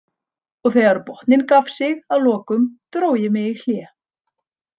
Og þegar botninn gaf sig að lokum, dró ég mig í hlé.